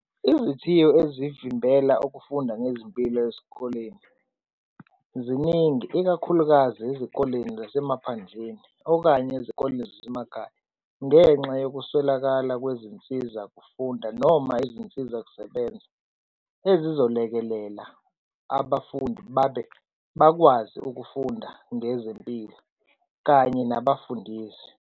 Izithiyo ezivimbela ukufunda ngezimpilo ezikoleni ziningi, ikakhulukazi ezikoleni zasemaphandleni okanye ezikoleni zasemakhaya. Ngenxa yokuswelakala kwezinsizakufunda noma izinsizakusebenza ezizolekelela abafundi babe bakwazi ukufunda ngezempilo kanye nabafundisi.